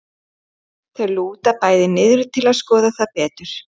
Þau lúta bæði niður til að skoða það betur.